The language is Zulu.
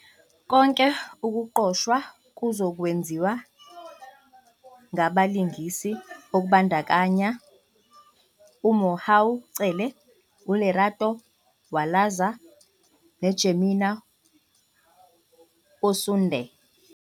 Konke ukuqoshwa kuzokwenziwa ngabalingisi okubandakanya uMohau Cele, uLerato Walaza noJemima Osunde.